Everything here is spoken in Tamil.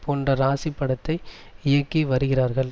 போன்ற ராசி படத்தை இயக்கி வருகிறார்கள்